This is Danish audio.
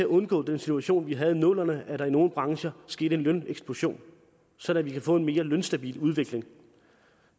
undgå den situation vi havde i nullerne nemlig at der i nogle brancher skete en løneksplosion sådan at vi kan få en mere lønstabil udvikling